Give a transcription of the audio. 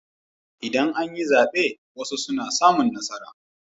Idan an yi zaɓe wasu suna samun nasara.